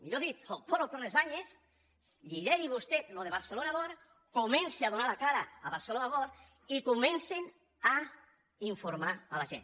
millor dit el toro per les banyes lideri vostè això de barcelona world comenci a donar la cara a barcelona world i comencen a informar la gent